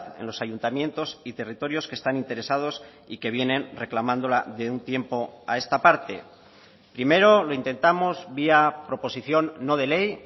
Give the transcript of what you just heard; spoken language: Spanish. en los ayuntamientos y territorios que están interesados y que vienen reclamándola de un tiempo a esta parte primero lo intentamos vía proposición no de ley